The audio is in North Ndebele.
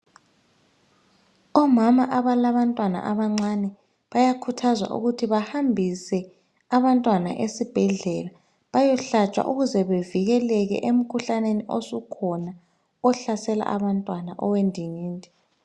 Omama abalabantwana abancane bayakhuthazwa ukuthi bahambise abantwana esibhedlela bayehlatshwa ukuze bevikeleke emkhuhlaneni osukhona ohlasela abantwana owendingindi.